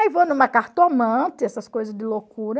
Aí vou numa cartomante, essas coisas de loucura.